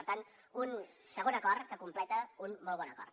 per tant un segon acord que completa un molt bon acord